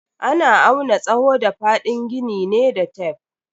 Ana auna tsawo da fadin gini ne da tef.